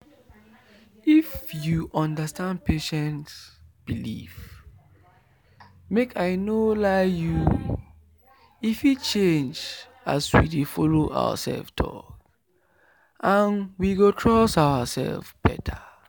if you understand patient belief make i nor lie you e fit change as we dey follow ourself talk and we go trust ourself better.